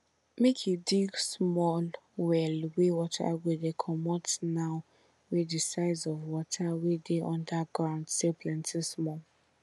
make you dig small well wey water go dey comot now wey de size of water wey dey under ground still plenty small